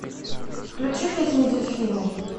включи песню дельфины